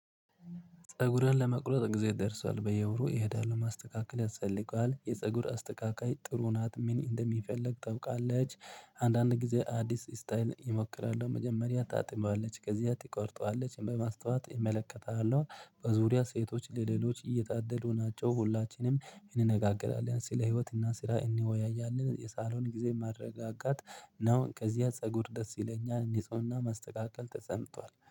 ፀጉሬን ለመቆረጥ ጊዜ ደርሷል። በየውሩ እሄዳለሁ፣ ማስተካከል ያስፈልገዋል። የፀጉር አስተካካይ ጥሩ ናት፣ ምን እንደሚፍልግ ታውቃለች። አንዳንድ ጊዜ አዲስ ስታይል እሞክራለሁ። መጀመሪያ ታጥባለች፣ ከዚያ ትቆርጠዋለች፣ በማስተወት እመለከታለሁ፣ በዙሪያ ሴቶች ለሌሎች እየታደሉ ናቸው። ሁላችንም እንነጋገራለን ስለ ህይወት እና ስለ እንወያያለን፣ የሳሎን ጊዜ ማረጋጋት ነው፣ ከዚያ ፀጉር ደስ ይለኛል፣ ንጽሁና ማስተካከል ተሰምቷል።